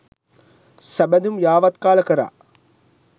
සබැඳුම් යාවත්කාල කලා.